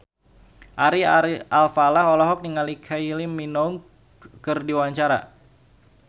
Ari Alfalah olohok ningali Kylie Minogue keur diwawancara